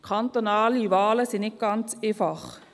Kantonale Wahlen sind nicht ganz einfach.